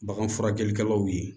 Bagan furakɛlikɛlaw ye